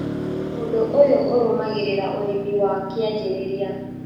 ũndũ ũyũ ũrũmagĩrĩra ũrĩmi wa kĩanjĩrĩria